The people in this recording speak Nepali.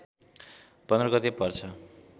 १५ गते पर्छ